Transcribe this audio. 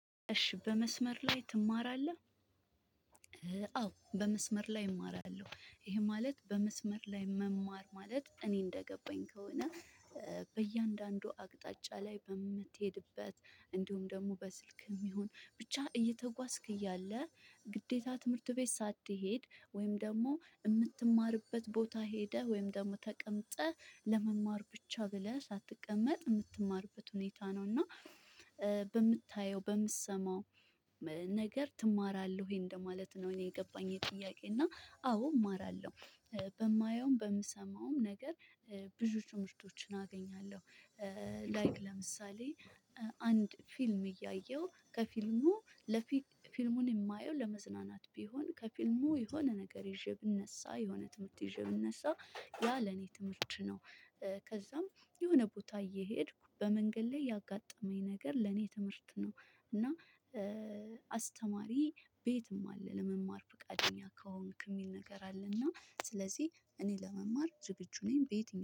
እሺ በመስመር ላይ ትማራለህ? አዎ በመስመር ላይ እማራለሁ ይሄ ማለት በመስመር ላይ መማር ማለት እኔ እንደገባኝ ከሆነ። በእያንዳንዱ አቅጣጫ ላይ በምትሄድበት እንዲሁም ደግሞ በስልክም ይሁን ብቻ እየተጓዝክ እያለ ግዴታ ትምህርት ቤት ሳትሄድ ወይም ደግሞ የምትማርበት ቦታ ሄደህ ወይም ደግሞ ተቀምጠህ ለመማር ብቻ ብለህ ሳትቀመጥ የምትማርበት ሁኔታ ነው። እና በምታየው በምትሰማው ነገር ትማራለህ ወይ እንደማለት ነው። እኔ የገባኝ ይሄ ጥያቄ እና አዎ እማራለሁ በማየውም በምሰማውም ነገር ብዙ ትምህርቶችን አገኛለሁ። ላይክ ለምሳሌ አንድ ፊልም እያየሁ ከፊልሙ ለፊልሙን የማየው ለመዝናናት ቢሆን ከፊልሙ የሆነ ነገር ይዤ ብነሳ የሆነ ትምህርት ይዤ ብነሳ ያ ለኔ ትምህርት ነው። ከዛም የሆነ ቦታ እየሄድኩ በመንገድ ላይ ያጋጠመኝ ነገር ለኔ ትምህርት ነው። እና አስተማሪ ቤትም አለ ለመማር ፈቃደኛ ከሆንክ የሚል ነገር አለና ስለዚህ እኔ ለመማር ዝግጁ ነኝ በየትኛው